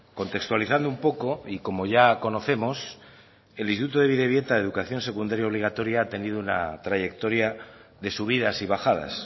contextualizando un poco y como ya conocemos el instituto de bidebieta de educación secundaria obligatoria ha tenido una trayectoria de subidas y bajadas